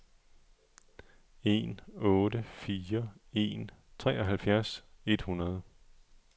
en otte fire en treoghalvfjerds et hundrede